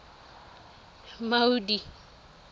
maudi